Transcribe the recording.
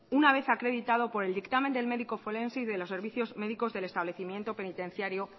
una vez acreditado por el dictamen del médico forense y de los servicios médicos del establecimiento penitenciario